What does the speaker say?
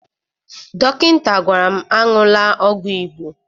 Dọkịta gwara m aṅụla ọgwụ Igbo